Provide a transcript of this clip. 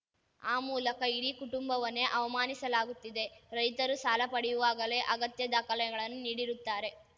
ಆ ಮೂಲಕ ಇಡೀ ಕುಟುಂಬವನ್ನೇ ಅವಮಾನಿಸಲಾಗುತ್ತಿದೆ ರೈತರು ಸಾಲ ಪಡೆಯುವಾಗಲೇ ಅಗತ್ಯ ದಾಖಲೆಗಳನ್ನು ನೀಡಿರುತ್ತಾರೆ